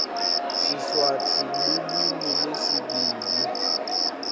siswati lulwimi lwesibili